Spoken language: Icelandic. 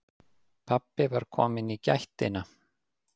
Pabbi var kominn í gættina.